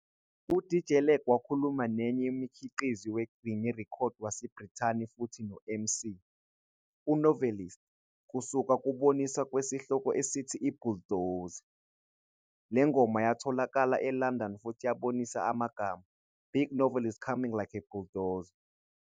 U-DJ Lag wakhuluma naye nomkhiqizi we-grime record waseBrithani futhi no-MC, u-Novelist, kusuka kuboniswa kwesihloko esithi "I-"Bulldozer". Le ngoma yayatholakala eLondon futhi yabonisa amagama, "Big Novelist coming like a bulldozer.